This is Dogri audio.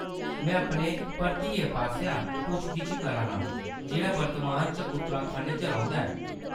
मैं अपने भतरीए पासेआ पुच्छ-गिच्छ करा ना आं, जेह्‌‌ड़ा वर्तमान च उत्तराखंड च रौंह्दा‌ ऐ।